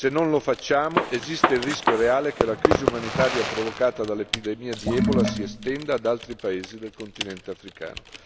Se non lo facciamo, esiste il rischio reale che la crisi umanitaria provocata dall'epidemia di ebola si estenda ad altri paesi del continente africano.